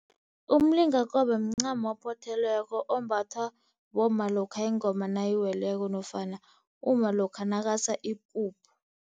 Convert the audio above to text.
Umlingakobe mncamo ophothelweko ombathwa bomma lokha ingoma nayiweleko nofana umma lokha nakasa ipuphu.